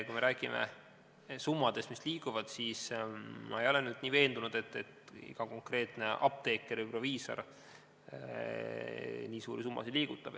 Kui me räägime summadest, mis seal liiguvad, siis ma ei ole päris veendunud, et iga konkreetne apteeker või proviisor nii suuri summasid liigutab.